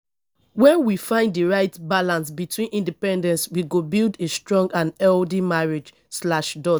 when we find di right balance between independence we go build a strong and healthy marriage slash dot